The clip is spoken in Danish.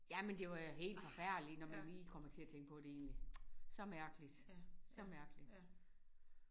Ja men det var jo helt forfærdeligt når man lige kommer til at tænke på det egentlig. Så mærkeligt så mærkeligt